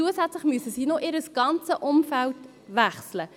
Zusätzlich dazu müssen sie noch ihr ganzes Umfeld wechseln.